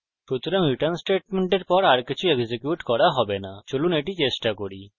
সুতরাং return স্টেটমেন্টের পর আর কিছু এক্সিকিউট করা হবে না চলুন এটি চেষ্টা করি